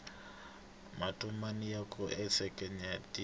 matomani ya kumeka ensenyatsini